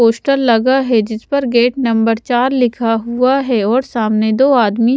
poster लगा है जिस पर गेट नंबर चार लिखा हुआ है और सामने दो आदमी--